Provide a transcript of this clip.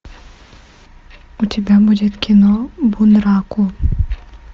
у тебя будет кино бунраку